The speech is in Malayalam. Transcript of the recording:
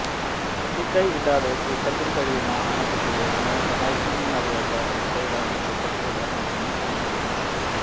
തുമ്പിക്കൈ ഇല്ലാതെ കൂട്ടത്തിൽ കഴിയുന്ന ആനക്കുട്ടിയെ എങ്ങനെ സഹായിക്കണമെന്നറിയാത്ത അവസ്ഥയിലാണ് കൂട്ടത്തിലുള്ള മുതിർന്ന ആനകളും